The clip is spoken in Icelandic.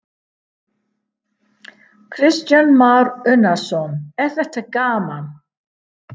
Kristján Már Unnarsson: Er þetta gaman?